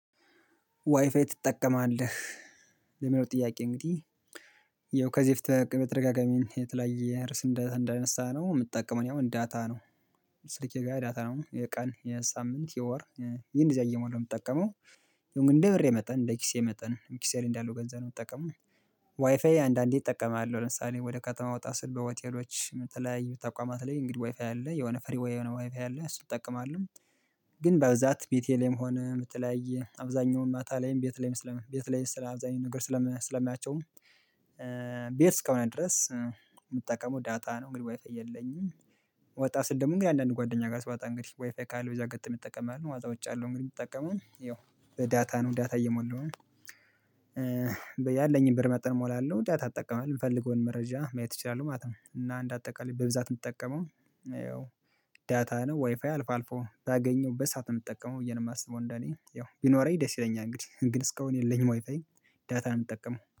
ዋይፋይ ትጠቀማለህ? ለሚለው ጥያቄ እንግዲህ የው ከዚህ በፊት በተደጋጋሚ የተለያየ እርዕስ እንዳነሳነው የምትጠቀመው ያው እኔ ዳታ ነው። ስልኬ ጋር ዳታ ነው የቀን የሳምንት የወር እኔ እነደዚያ እየሞላው ነው የምጠቀመው። ያው እንደ ብሬ መጠን እንደ ኪሴ መጠን ኪሴ ላይ እንዳለው ገንዘብ ነው የምትጠቀመው። ዋይፋይ አንዳንዴ እጠቀማለሁ ለምሳሌ ወደ ከተማ ወጣ ስል በሆቴሎች የተለያዩ ተቋማት ላይ እንግዲህ ዋይፋይ አለ የሆነ ፍሪ የሆነ ዋይፋይ አለ እሱን እጠቀማለሁ። ግን በብዛት ቤቴ ላይም ሆነ የተለያይ አብዛኛው ማታ ላይም ቤት ላይም ስለ ቤት ላይም ስለ አብዛኛው ነገር ስለማያቸውም ቤት እስከሆነ ድረስ የምጠቀመው ዳታ ነው እንግዲህ ዋይፋይ የለኝም። ወጣ ስል ደግሞ ግን አንዳንድ ጓደኛ ጋር ስዋጣ እንግዲህ ዋይፋይ ካለ በዛ አጋጣሚ እጠቀማለሁ ማለት ነው። ዉጭ እያለው እንግዲህ የምጠቀመው ይኸው በዳታ ነው ዳታ እየሞላው ነው ያለኝን ብር መጥን ሞላለሁ ዳታ እጠቀማለሁ የምፈልገውን መረጃ ማየት እችላለሁ ማለት ነው። እና አንድ አጠቃላይ በብዛት የምትጠቀመው ያው ዳታ ነው ዋይፋይ አልፎ አልፎ ባገኘውበት ሰዓት ነው የምጠቀመው ብዬ ነው የማስበው እንደኔ ያው ቢኖረኝ ደስ ይለኛል እንግዲህ ግን እስካሁን የለኝም ዋይፋይ። ዳታ እምጠቀመው